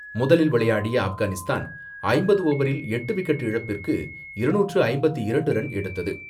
முதலில் விளையாடிய ஆப்கானிஸ்தான் ஐம்பது ஓவரில் எட்டு விக்கெட் இழப்பிற்கு இருநூற்று ஐம்பத்தி இரண்டு ரன் எடுத்தது.